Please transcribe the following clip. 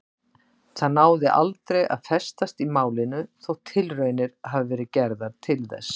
Það náði aldrei að festast í málinu þótt tilraunir hafi verið gerðar til þess.